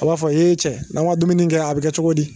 A b'a fɔ eee cɛ n'a ma dumuni kɛ a bɛ kɛ cogo di.